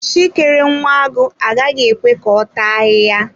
Chi kere nwa agụ agaghị ekwe ka ọta ahịhịa.